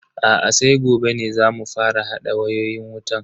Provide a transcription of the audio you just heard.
Aa sai gobe ne zamu fara hada wayoyin wutan.